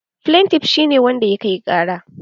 Flentif shi ne wanda ya kai ƙara